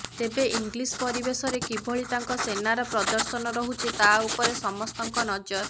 ତେବେ ଇଂଲିଶ ପରିବେଶରେ କିଭଳି ତାଙ୍କ ସେନାର ପ୍ରଦର୍ଶନ ରହୁଛି ତା ଉପରେ ସମସ୍ତଙ୍କ ନଜର